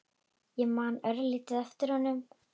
Ég man örlítið eftir honum.